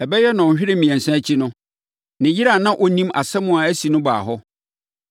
Ɛbɛyɛ nnɔnhwere mmiɛnsa akyi no, ne yere a na ɔnnim asɛm a asi no baa hɔ.